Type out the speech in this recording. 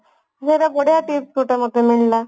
ଇଏତ ବଢିଆ tips ମତେ ଗୋଟେ ମିଳିଲା